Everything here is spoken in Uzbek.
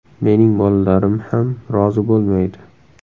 Mening bolalarim ham rozi bo‘lmaydi.